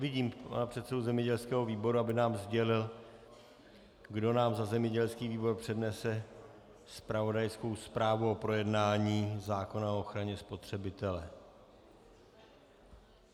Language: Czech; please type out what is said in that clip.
Vidím pana předsedu zemědělského výboru, aby nám sdělil, kdo nám za zemědělský výbor přednese zpravodajskou zprávu o projednání zákona o ochraně spotřebitele.